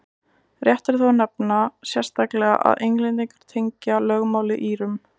rétt er þó að nefna sérstaklega að englendingar tengja lögmálið írum